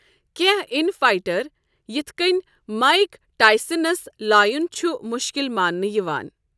کینٛہ اِن فائٹَر، یِتھ کٔنۍ مائیک ٹائسنَس لایُن چھُ مُشکٕل ماننہٕ یِوان۔